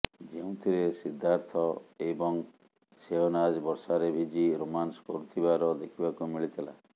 ଯେଉଁଥିରେ ସିଦ୍ଧାର୍ଥ ଏବଂ ସେହନାଜ ବର୍ଷାରେ ଭିଜି ରୋମାନ୍ସ କରୁଥିବାର ଦେଖିବାକୁ ମିଳିଥିଲା